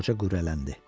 Qoca qürrələndi.